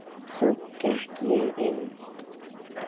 Svo gekk ég inn.